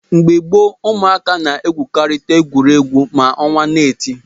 Mgbe gboo, ụmụaka na-egwukarị egwu mgbe ọnwa na-eti.